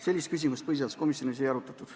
Selliseid küsimusi põhiseaduskomisjonis ei arutatud.